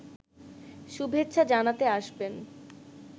শুভেচ্ছা জানাতে আসবেন